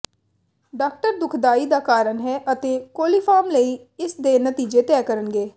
doctor ਦੁਖਦਾਈ ਦਾ ਕਾਰਨ ਹੈ ਅਤੇ ਕੋਲੀਫਾਰਮ ਲਈ ਇਸ ਦੇ ਨਤੀਜੇ ਤੈਅ ਕਰਨਗੇ